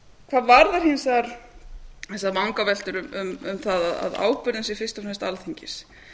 hvað varðar hins vegar vegar vangaveltur um það að ábyrgðin sé fyrst og fremst alþingis